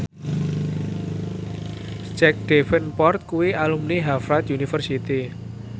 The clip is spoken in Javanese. Jack Davenport kuwi alumni Harvard university